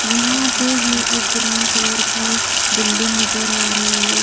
यहां पे ह़ै ये ग्रीन कलर की बिल्डिंग नजर आ रही हैं।